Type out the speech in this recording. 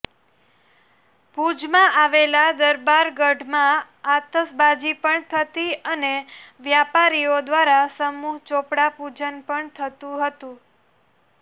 ભૂજમાં આવેલા દરબારગઢમાં આતશબાજી પણ થતી અને વ્યાપારીઓ દ્વારા સમૂહ ચોપડા પૂજન પણ થતું હતું